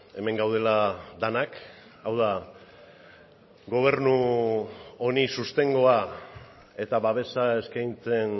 hemen gaudela denak hau da gobernu honi sostengua eta babesa eskaintzen